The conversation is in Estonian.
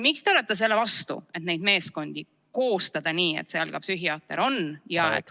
Miks te olete selle vastu, et koostada neid meeskondi nii, et seal oleks ka psühhiaater?